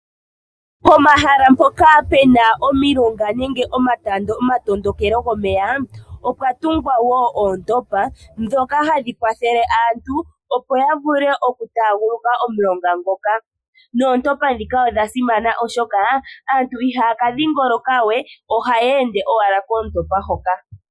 Pomahala mpoka pena omilonga nenge omatondokelo gomeya opwa tungwa wo oontopa, dhoka hadhi kwathele aantu opo ya vule oku taguluka omulonga ngoka. Noontopa dhika odha simana oshoka aantu ihaya ka dhingoloka wee, ohaya ende owala koontopa hoka.